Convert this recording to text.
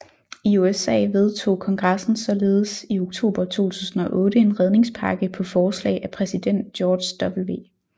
I USA vedtog kongressen således i oktober 2008 en redningspakke på forslag af præsident George W